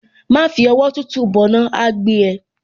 Má fi ọwọ́ tútù bọná, á á gbé ẹ.